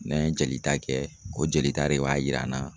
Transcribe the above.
N'an ye jolita kɛ, o jolita de b'a yira an na